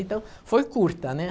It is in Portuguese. Então, foi curta, né.